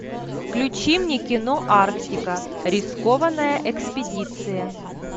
включи мне кино арктика рискованная экспедиция